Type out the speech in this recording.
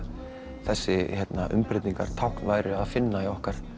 þessi umbreytingartákn væru að finna í okkar